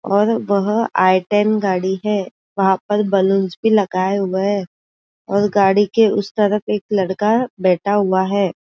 और वहा I ten गाडी है वहाँ पर बलुंस भी लगाये हुए है और गाडी के उस तरफ एक लड़का बैठा हुआ है।